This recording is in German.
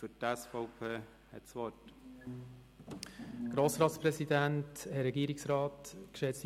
Für die SVP hat Grossrat Guggisberg das Wort.